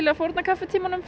að fórna kaffitímanum